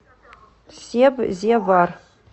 себзевар